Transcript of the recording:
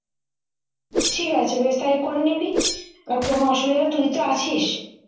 ঠিক আছে বেশ তাই করে নিবি আর কোনো অসুবিধা হলে তুই তো আছিস